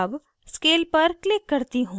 अब scale पर click करती हूँ